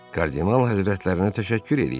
Kardinal Həzrətinə təşəkkür eləyirəm.